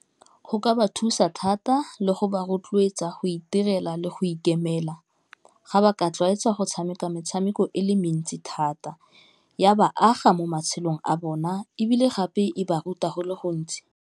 Go ka ba thusa thata le go ba rotloetsa go itirela le go ikemela ga ba ka itlwaetsa go tshameka metshameko e le mentsi thata ya ba aga mo matshelong a bona ebile gape e ba ruta go le gontsi.